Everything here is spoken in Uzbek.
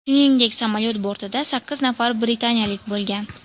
Shuningdek samolyot bortida sakkiz nafar britaniyalik bo‘lgan.